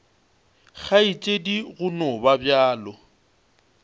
kgaetšedi go no ba bjalo